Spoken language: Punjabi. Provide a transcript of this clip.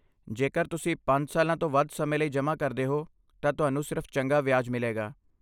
ਜੇਕਰ ਤੁਸੀਂ ਪੰਜ ਸਾਲਾਂ ਤੋਂ ਵੱਧ ਸਮੇਂ ਲਈ ਜਮ੍ਹਾਂ ਕਰਦੇ ਹੋ, ਤਾਂ ਤੁਹਾਨੂੰ ਸਿਰਫ਼ ਚੰਗਾ ਵਿਆਜ ਮਿਲੇਗਾ